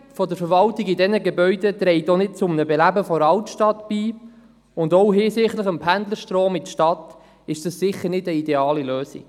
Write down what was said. Das Unterbringen der Verwaltung in diesen Gebäuden trägt auch nicht zur Belebung der Altstadt bei, und auch hinsichtlich des Pendelstroms in die Stadt ist das sicher keine ideale Lösung.